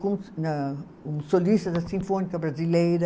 Com na, um solista da Sinfônica Brasileira.